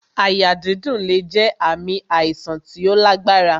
Àyà dídùn lè jẹ ààmì àìsàn tí ó lágbára